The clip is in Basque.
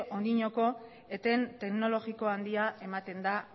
oraindik eten teknologiko handia ematen da